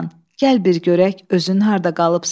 Gəl bir görək özün harda qalıbsan.